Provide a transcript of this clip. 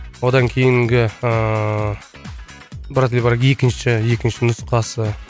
одан кейінгі ыыы брат или брак екінші екінші нұсқасы